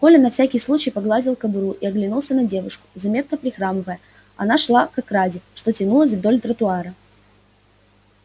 коля на всякий случай погладил кобуру и оглянулся на девушку заметно прихрамывая она шла к ограде что тянулась вдоль тротуара